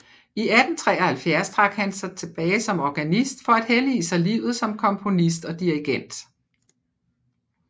I 1873 trak han sig tilbage som organist for at hellige sig livet som komponist og dirigent